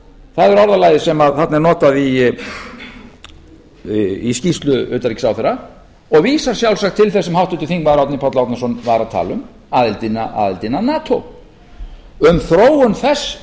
er orðalagið sem þarna er notað í skýrslu utanríkisráðherra og vísar sjálfsagt til þess sem háttvirtur þingmaður árni páll árnason var að tala um aðildina að nato um þróun þess